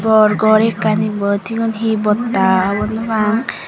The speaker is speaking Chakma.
bor ghor ekkan ebot cigun he botta hobor no pang.